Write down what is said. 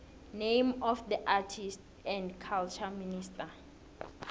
name of the arts and culture minister